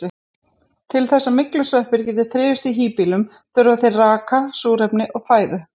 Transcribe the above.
Til þess að myglusveppir geti þrifist í híbýlum þurfa þeir raka, súrefni og fæðu.